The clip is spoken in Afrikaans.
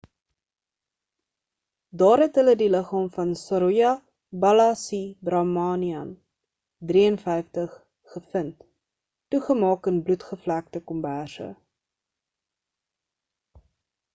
daar het hulle die liggaam van saroja balasubramanian 53 gevind toegemaak in bloedbevlekte komberse